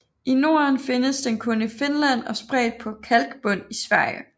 I Norden findes den kun i Finland og spredt på kalkbund i Sverige